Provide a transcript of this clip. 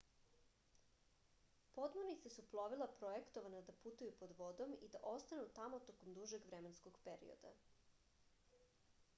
podmornice su plovila projektovana da putuju pod vodom i da ostanu tamo tokom dužeg vremenskog perioda